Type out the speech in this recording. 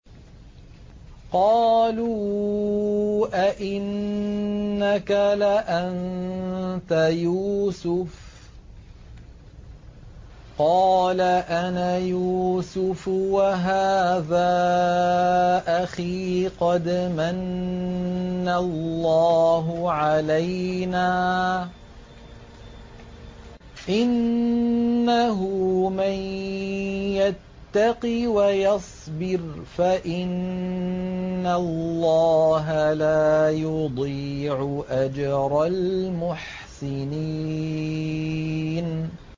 قَالُوا أَإِنَّكَ لَأَنتَ يُوسُفُ ۖ قَالَ أَنَا يُوسُفُ وَهَٰذَا أَخِي ۖ قَدْ مَنَّ اللَّهُ عَلَيْنَا ۖ إِنَّهُ مَن يَتَّقِ وَيَصْبِرْ فَإِنَّ اللَّهَ لَا يُضِيعُ أَجْرَ الْمُحْسِنِينَ